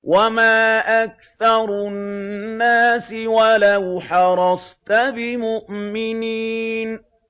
وَمَا أَكْثَرُ النَّاسِ وَلَوْ حَرَصْتَ بِمُؤْمِنِينَ